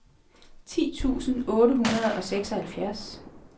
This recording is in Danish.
ti tusind otte hundrede og seksoghalvfjerds